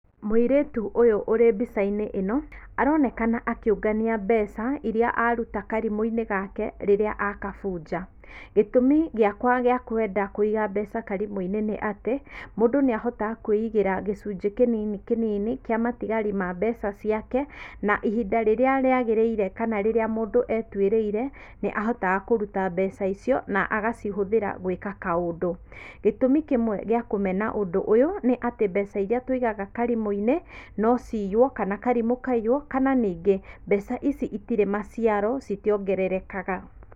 Mũirĩtu ũyũ ũrĩ mbica-inĩ ĩno, aronekana akĩũngania mbeca iria aruta karimũ-inĩ gake rĩrĩa akabunja, gĩtũmi gĩakwa gĩa kwenda kũiga mbeca karimũ-inĩ nĩ atĩ, mũndũ nĩahotaga kwĩigĩra gĩcunjĩ kĩnini kĩnini kĩa matigari ma mbeca ciake na ihinda rĩrĩa rĩagĩrĩire kana rĩrĩa mũndũ etuĩrĩire, nĩ ahotaga kũruta mbeca icio na agacihũthĩra gwĩka kaũndu, gĩtũmi kĩmwe gĩa kũmena ũndũ ũyũ nĩ atĩ mbeca iria tũigaga karimũ-inĩ, nociywo kana karimũ kaiywo kana ningĩ mbeca ici itirĩ maciaro itiongererekaga